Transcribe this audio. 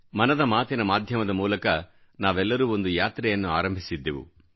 ಮನದ ಮಾತಿನ ಮಾಧ್ಯಮದ ಮೂಲಕ ನಾವೆಲ್ಲರೂ ಒಂದು ಯಾತ್ರೆಯನ್ನು ಆರಂಭಿಸಿದ್ದೆವು